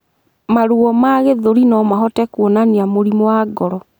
Maruo ma gĩthũri nomahote kuonania Mũrimũ wa ngoro